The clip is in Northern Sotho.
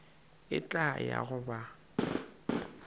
ke tla ya go ba